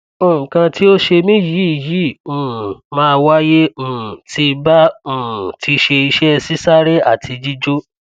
nkan ti o se mi yi yi um ma waye um tí ba um ti se ise sisare ati jijo